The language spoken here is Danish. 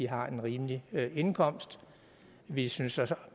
har en rimelig indkomst vi synes så også